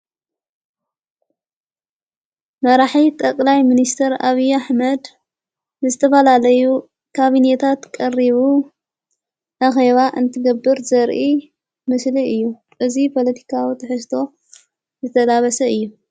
መራሒት ጠቕላይ ምንስተር ኣብያ ኣኅመድ ዝተፋላለዩ ካብኔታት ቀሪቡ ኣኸዋ እንትገብር ዘርኢ ምስሊ እዩ እዙይ ጶለቲካዊ ተሕስቶ ዘተላበሰ እዩ::